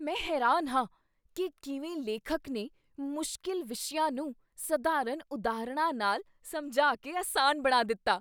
ਮੈਂ ਹੈਰਾਨ ਹਾਂ ਕੀ ਕਿਵੇਂ ਲੇਖਕ ਨੇ ਮੁਸ਼ਕਿਲ ਵਿਸ਼ਿਆਂ ਨੂੰ ਸਧਾਰਨ ਉਦਾਹਰਣਾਂ ਨਾਲ ਸਮਝਾ ਕੇ ਅਸਾਨ ਬਣਾ ਦਿੱਤਾ।